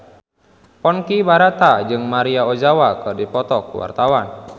Ponky Brata jeung Maria Ozawa keur dipoto ku wartawan